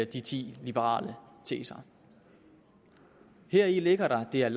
de ti liberale teser heri ligger der at det er